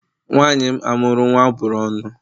Nwanyị m amuru nwa a bụrụ ọnụ